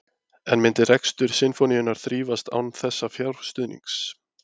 En myndi rekstur Sinfóníunnar þrífast án þessa fjárstuðnings?